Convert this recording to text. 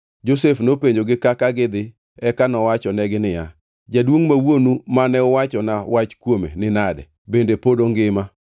Josef nopenjogi kaka gidhi eka nowachonegi niya, “Jaduongʼ ma wuonu mane uwachona wach kuome ni nade? Bende pod ongima?”